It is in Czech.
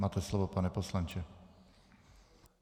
Máte slovo, pane poslanče.